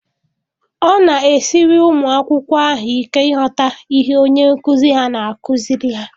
Ọ na-esiri ụmụ akwụkwọ ahụ ike ịghọta ihe onye nkụzi ha na-akụziri ha.